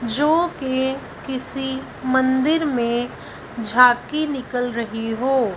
जो के किसी मंदिर में झांकी निकल रही हों।